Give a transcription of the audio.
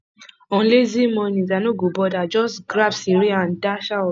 on lazy mornings i no go bother just grab cereal and dash out